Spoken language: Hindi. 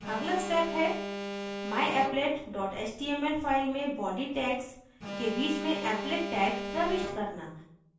अगला step है myapplet dot html file में body tags के बीच में applet tag प्रविष्ट करना